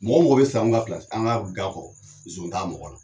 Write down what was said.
Mɔgɔ mɔgɔ bi sa an ka pilasi anw ka ga kɔrɔ zon t'a mɔgɔw la